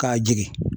K'a jigin